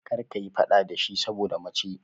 Kar ka yi faɗa da shi saboda mace!